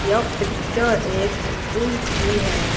यह पिक्चर एक पुल की है।